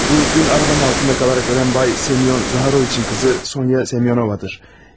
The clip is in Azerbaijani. Bu dünən arabanın altında qalaraq ölən bay Semion Zaxaroviçin qızı Sonya Semiyonovadır.